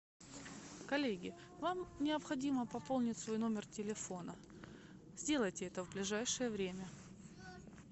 коллеги вам необходимо пополнить свой номер телефона сделайте это в ближайшее время